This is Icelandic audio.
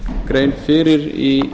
grein fyrir í